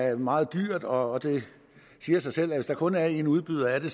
er meget dyrt og det siger sig selv at hvis der kun er én udbyder af det